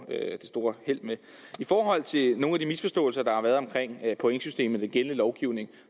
det store held med i forhold til nogle af de misforståelser der har været omkring pointsystemet i den gældende lovgivning